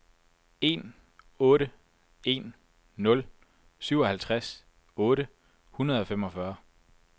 en otte en nul syvoghalvtreds otte hundrede og femogfyrre